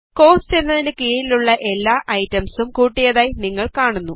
cost എന്നതിന് കീഴിലുള്ള എല്ലാ ഐറ്റംസും കൂട്ടിയതായി നിങ്ങൾ കാണുന്നു